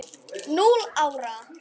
Núll ára!